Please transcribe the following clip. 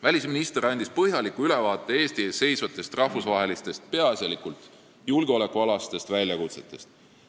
Välisminister andis põhjaliku ülevaate Eesti ees seisvatest rahvusvahelistest, peaasjalikult julgeolekualastest väljakutsetest.